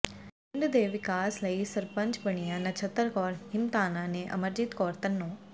ਪਿੰਡਾਂ ਦੇ ਵਿਕਾਸ ਲਈ ਸਰਪੰਚ ਬਣੀਆਂ ਨਛੱਤਰ ਕੌਰ ਹਿੰਮਤਾਨਾ ਤੇ ਅਮਰਜੀਤ ਕੌਰ ਧੰਨੋਂ